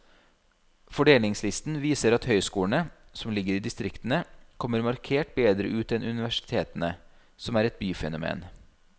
Fordelingslisten viser at høyskolene, som ligger i distriktene, kommer markert bedre ut enn universitetene, som er et byfenomen.